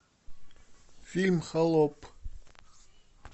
фильм холоп